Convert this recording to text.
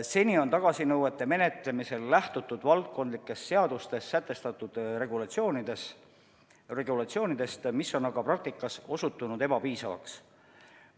Seni on tagasinõuete menetlemisel lähtutud valdkondlikes seadustes sätestatud regulatsioonidest, mis on praktikas osutunud ebapiisavaks.